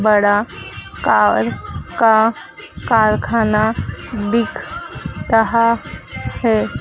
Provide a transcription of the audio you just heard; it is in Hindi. बड़ा कार का कारखाना दिख रहा है।